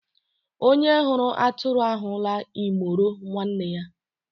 Onye hụrụ atụrụ ahụla imoro nwanne ya